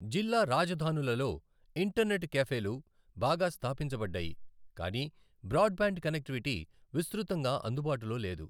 జిల్లా రాజధానులలో ఇంటర్నెట్ క్యాఫేలు బాగా స్థాపించబడ్డాయి, కాని బ్రాడ్బ్యాండ్ కనెక్టివిటీ విస్తృతంగా అందుబాటులో లేదు.